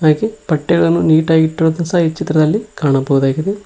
ಹಾಗೆ ಬಟ್ಟೆಗಳನ್ನು ನೀಟಾ ಗಿ ಇಟ್ಟಿರುದು ಸಹ ಈ ಚಿತ್ರದಲ್ಲಿ ಕಾಣಬಹುದಾಗಿದೆ.